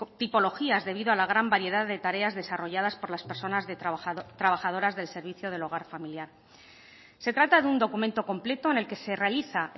tipologías debido a la gran variedad de tareas desarrolladas por las personas de trabajadoras del servicio del hogar familiar se trata de un documento completo en el que se realiza